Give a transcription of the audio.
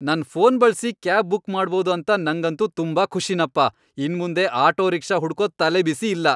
ನನ್ ಫೋನ್ ಬಳ್ಸಿ cab book ಮಾಡ್ಬೋದು ಅಂತ ನಂಗಂತೂ ತುಂಬಾ ಖುಷಿನಪ್ಪ. ಇನ್ಮುಂದೆ ಆಟೋ ರಿಕ್ಷಾ ಹುಡ್ಕೋ ತಲೆಬಿಸಿ ಇಲ್ಲ.